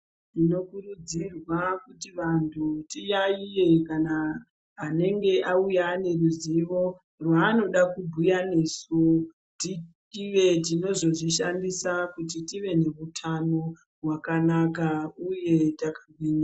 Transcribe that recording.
Munokurudzirwa kuti vantu tiyaiye kana anenge auya ane ruziwo rwaanoda kubhuya nesu tive tinozozvishandisa kuti tive nehutano hwakanaka uye taka gwinya